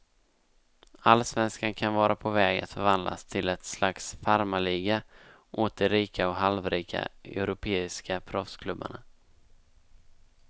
Allsvenskan kan vara på väg att förvandlas till ett slags farmarliga åt de rika och halvrika europeiska proffsklubbarna.